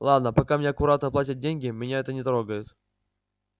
ладно пока мне аккуратно платят деньги меня это не трогает